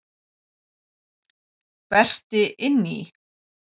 Berti inn í.